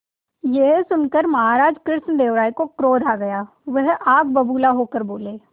यह सुनकर महाराज कृष्णदेव राय को क्रोध आ गया वह आग बबूला होकर बोले